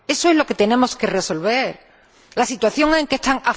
Eso es lo que tenemos que resolver la situación en la que están.